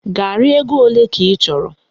Garị ego ole ka ị chọrọ?